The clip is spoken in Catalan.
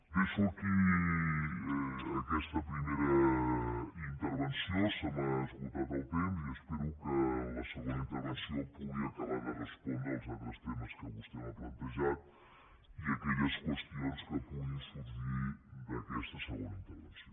deixo aquí aquesta primera intervenció se m’ha esgotat el temps i espero que en la segona intervenció pugui acabar de respondre els altres temes que vostè m’ha plantejat i aquelles qüestions que puguin sorgir d’aquesta segona intervenció